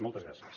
moltes gràcies